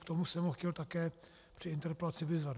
K tomu jsem ho chtěl také při interpelaci vyzvat.